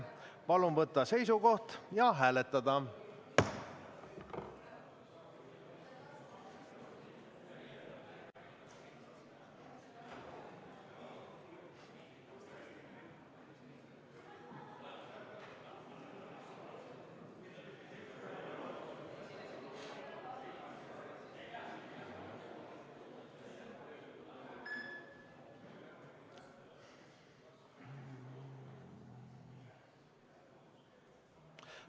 Palun võtta seisukoht ja hääletada!